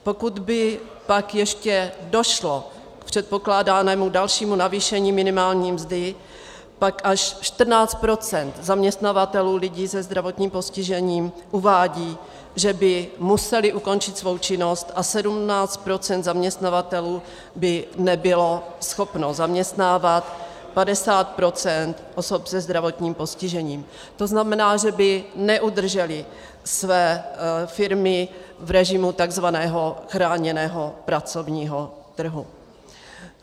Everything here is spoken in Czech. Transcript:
Pokud by pak ještě došlo k předpokládanému dalšímu navýšení minimální mzdy, pak až 14 % zaměstnavatelů lidí se zdravotním postižením uvádí, že by museli ukončit svou činnost, a 17 % zaměstnavatelů by nebylo schopno zaměstnávat 50 % osob se zdravotním postižením, to znamená, že by neudrželi své firmy v režimu takzvaného chráněného pracovního trhu.